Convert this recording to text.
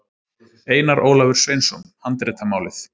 Einar Ólafur Sveinsson, Handritamálið.